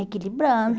Equilibrando.